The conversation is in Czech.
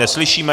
Neslyšíme!